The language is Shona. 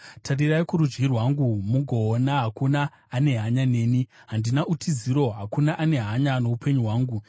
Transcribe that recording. Tarirai kurudyi rwangu mugoona; hakuna ane hanya neni. Handina utiziro; hakuna ane hanya noupenyu hwangu.